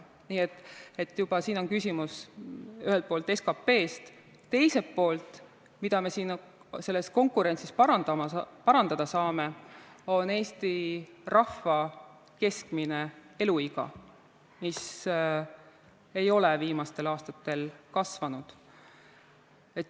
Nii et siin on küsimus ühelt poolt SKP-s, teiselt poolt, rääkides sellest, mida me selles konkurentsis parandada saame, on selleks Eesti rahva keskmine eluiga, mis ei ole viimastel aastatel kasvanud.